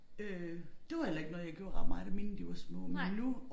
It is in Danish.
Øh det var heller ikke noget jeg gjorde ret meget da mine de var små men nu